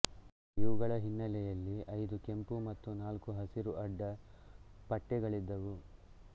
ಇವುಗಳ ಹಿನ್ನೆಲೆಯಲ್ಲಿ ಐದು ಕೆಂಪು ಮತ್ತು ನಾಲ್ಕು ಹಸಿರು ಅಡ್ಡ ಪಟ್ಟೆಗಳಿದ್ದವು